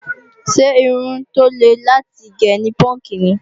Ṣé irun tó le láti gé ni púúnkì ni?